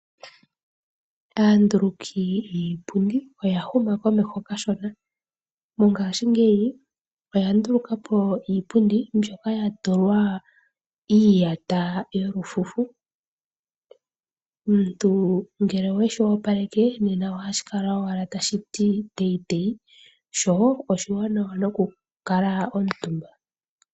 Aanduluki yiipundi oyahuma komeho kashona, mongashingeyi oya ndulukapo iipundi mbyoka yatulwa iiyata yolufufu omuntu ngele oweshi opaleke nena ohashi kala owala tashiti teyi teyi sho oshiwanawa nokukala omutumba.